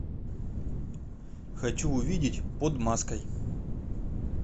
хочу увидеть под маской